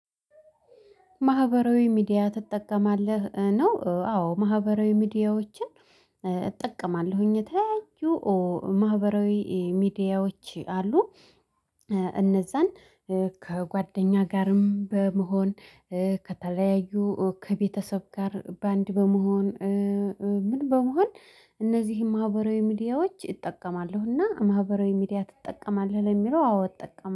ማህበራዊ ሚዲያ ትጠቀማለህ ነው? አዎ ማህበራዊ ሚዲያዎችን እጠቀማለሁኝ። የተለያዬ ማህበራዊ ሚዲያዎች አሉ። እነዛን ከጓደኛ ጋርም በመሆን ከተለያዩ ከቤተሰብ ጋር በአንድ በመሆን። ምን በመሆን እነዚህን ማህበራዊ ሚዲያዎች እጠቀማለሁና ማህበራዊ ሚዲያ ትጠቀማለህ? ለሚለው አዎ እጠቀማለሁ